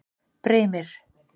Brimir